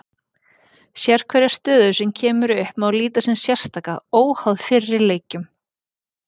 Sérhverja stöðu sem upp kemur má líta á sem sérstaka, óháða fyrri leikjum.